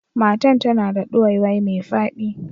Matan ta na da duwaiwai mai fadi.